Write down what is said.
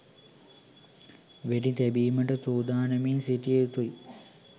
වෙඩි තැබීමට සූදානමින් සිටිය යුතුයි.